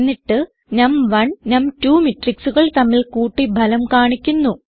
എന്നിട്ട് നം1 നം2 മെട്രിക്സുകൾ തമ്മിൽ കൂട്ടി ഫലം കാണിക്കുന്നു